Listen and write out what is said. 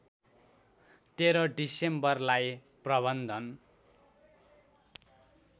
१३ डिसेम्बरलाई प्रबन्धन